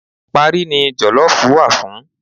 Parí ni jọ̀lọ́ọ̀fù wà fún